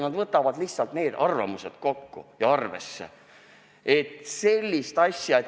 Nad lihtsalt koguvad kõik arvamused kokku ja arvestavad neid.